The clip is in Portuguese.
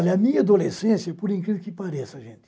Olha, a minha adolescência, por incrível que pareça, gente,